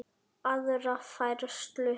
aðra færslu.